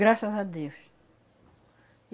Graças a Deus.